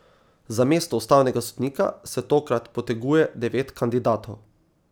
Za mesto ustavnega sodnika se tokrat poteguje devet kandidatov.